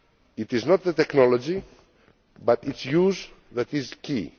It is not the technology, but rather its use, that is key.